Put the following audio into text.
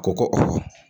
Ko ko